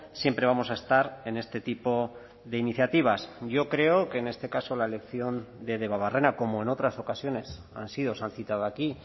siempre vamos a estar en este tipo de iniciativas yo creo que en este caso la elección de debabarrena como en otras ocasiones han sido o se han citado aquí